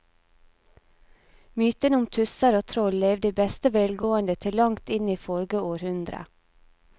Mytene om tusser og troll levde i beste velgående til langt inn i forrige århundre.